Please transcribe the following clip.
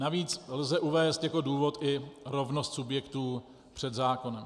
Navíc lze uvést jako důvod i rovnost subjektů před zákonem.